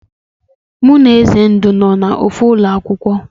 Mụ na Ezendu bụ no na ofu Ulo akwụkwọ